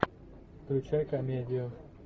включай комедию